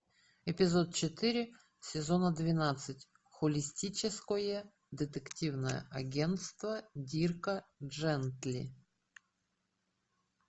эпизод четыре сезона двенадцать холистическое детективное агентство дирка джентли